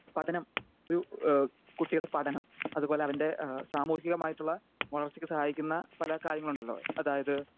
Speaker 2 പഠനം ഒരു ഏഹ് കുട്ടിയുടെ പഠനം അതുപോലെ അവൻ്റെ ഏഹ് സാമൂഹികമായിട്ടുള്ള വളർച്ചയ്ക്ക് സഹായിക്കുന്ന പല കാര്യങ്ങളുണ്ടല്ലോ? അതായത്